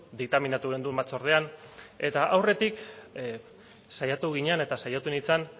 diktaminatu genuen batzordean eta aurretik saiatu ginen eta saiatu nintzen